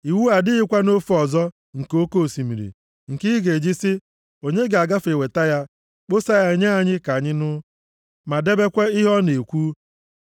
Iwu a adịghịkwa nʼofe ọzọ nke oke osimiri, nke ị ga-eji sị, “Onye ga-agafe ga weta ya, kpọsaa ya nye anyị ka anyị nụ, ma debekwa ihe ọ na-ekwu?”